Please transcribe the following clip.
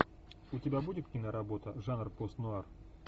у тебя будет киноработа жанр пост нуар